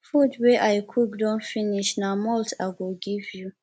food wey i cook don finish na malt i go give you